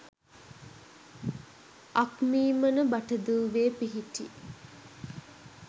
අක්මීමන බටදූවේ පිහිටි